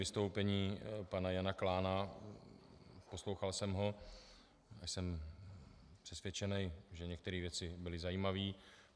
Vystoupení pana Jana Klána, poslouchal jsem ho a jsem přesvědčený, že některé věci byly zajímavé.